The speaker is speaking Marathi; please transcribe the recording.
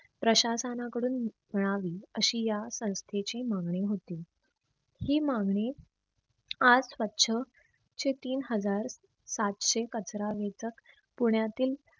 प्रशासना कडून मिळावी अशी या संस्थेची मागणी होती. ही मागणी आज स्वछ ते तीन हजार सातशे कचरा वेचक पुण्यातील